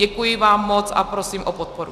Děkuji vám moc a prosím o podporu.